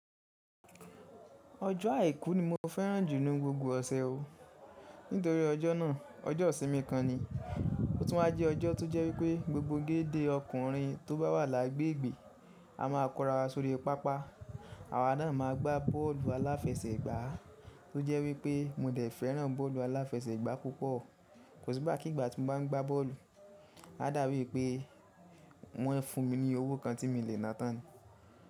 Ọjọ́ àikù ni mo fẹ́ràn jù lọ ní gbogbo ọ̀sè o. Nítorí ọjọ́ nà, ọjọ́ ìsinmí kan ni. O tún má jẹ ọjọ́ tó jẹ́ pé gbogbo gédé ọkùnrin tó bá wà lágbẹ̀gbẹ̀ a má a kọ́rá wa sóri pápá. Àwa nà máa gbá bọ́ọ̀lù alàfẹ̀sẹ̀gbà tó jẹ́ pé mo dẹ̀ fẹ́ràn bọ́ọ̀lù alàfẹ̀sẹ̀gbà púpọ̀. Kò sí bá kígbà tí mo bá ń gbá bọ́ọ̀lù, á dàá wí pé wọ́n ẹ́ fún mi ní owó kan tí mì lẹ́ nátàn.